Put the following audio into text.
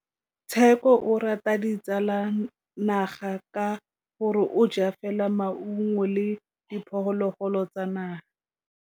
Tshekô o rata ditsanaga ka gore o ja fela maungo le diphologolo tsa naga.